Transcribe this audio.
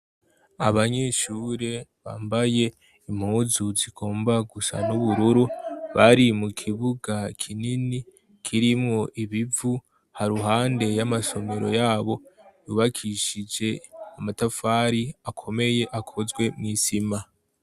Abanyeshure bambaye impuzu zigomba gusa n'ubururu bari mu kibuga kinini kirimwo ibivu haruhande y'amasomero yabo yubakishije amatafari akomeye akozwe mw'isima.